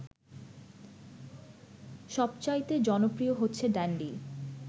সবচাইতে জনপ্রিয় হচ্ছে ড্যান্ডি